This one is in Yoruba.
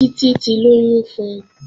Títí ti lóyún fun